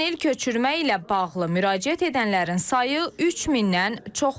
Ötən il köçürmə ilə bağlı müraciət edənlərin sayı 3000-dən çox olub.